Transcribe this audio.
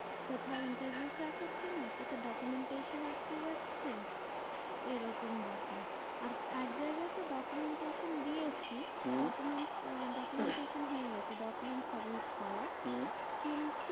কোথাও interview crack হচ্ছে না। কোথাও documentation আটকে যাচ্ছে। এরকম ব্যাপার। আর একজায়গায় তো documentation দিয়েছি হম documents আহ documentation হয়ে গেছে, document submit করা। হম কিন্তু